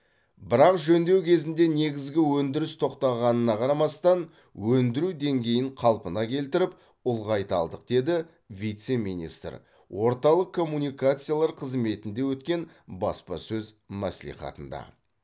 бірақ жөндеу кезінде негізгі өндіріс тоқтағанына қарамастан өндіру деңгейін қалпына келтіріп ұлғайта алдық деді вице министр орталық коммуникациялар қызметінде өткен баспасөз мәслихатында